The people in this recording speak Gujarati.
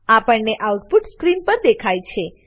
આપેલ આઉટપુટ સ્ક્રીન પર દેખાય છે